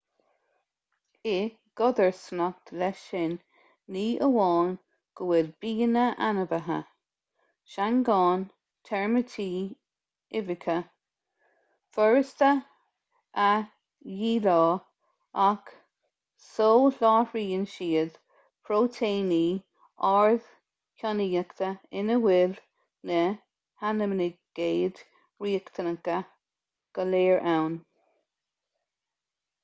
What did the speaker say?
i gcodarsnacht leis sin ní amháin go bhfuil bianna ainmhithe seangáin teirmítí uibheacha furasta a dhíleá ach soláthraíonn siad próitéiní ardchainníochta ina bhfuil na haimínaigéid riachtanacha go léir ann